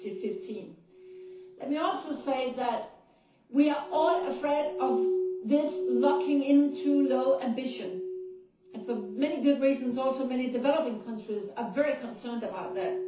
2015. Let me also say that we are all afraid of this looking into low ambition' and for many good reasons, also many developing countries are very concerned about that.